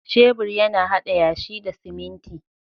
Shebur yana haɗa yashi da siminti